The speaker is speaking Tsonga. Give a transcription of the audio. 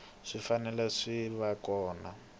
swi fanele swi va kona